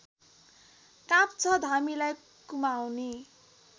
काँप्छ धामीलाई कुमाउनी